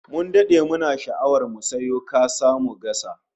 Mun dade muna sha'awar mu sayo kasa mu gasa